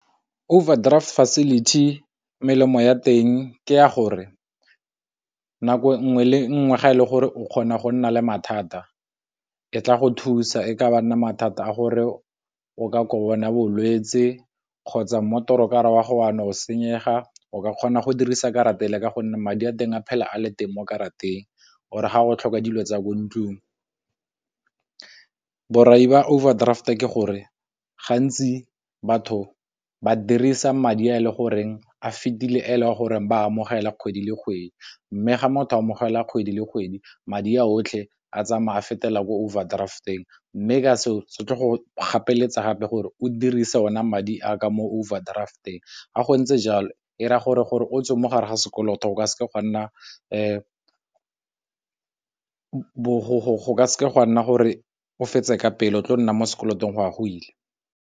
Qverdraft facility melemo ya teng ke ya gore nako nngwe le nngwe ga e le gore o kgona go nna le mathata e tla go thusa e ka ba nna mathata a gore o ka kona bolwetse kgotsa motorokara wa go wa no senyega, o ka kgona go dirisa karata pele ka gonne madi a teng a phela a le teng mo karateng, or ga go tlhoka dilo tsa ko ntlung. Borai ba overdraft ke gore gantsi batho ba dirisa madi a e le goreng a fitile a ele goreng ba amogela kgwedi le kgwedi, mme ga motho amogela kgwedi le kgwedi madi a otlhe a tsamaye a fetela ko overdraft-eng, mme ka se o se tle go gapeletsega gape gore o dirise ona madi a ka mo overdraft-eng ga go ntse jalo era gore, gore o tswe mo gare ga sekoloto o ka seke ga nna se gwa nna gore o fetse ka pela, o tlo nna mo sekolong go a go ile.